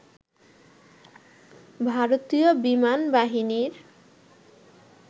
ভারতীয় বিমান বাহিনীর